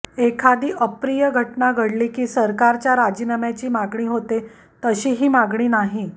एखादी अप्रिय घटना घडली की सरकारच्या राजीनाम्याची मागणी होते तशी ही मागणी नाही